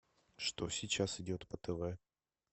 что сейчас идет по тв